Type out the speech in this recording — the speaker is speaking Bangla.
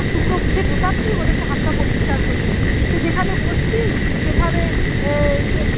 এক টুকরো মুখে ঢুকাচ্ছি মনে হচ্ছে হাত তা পরিষ্কার করি সে যেখানে বসছি সেখানে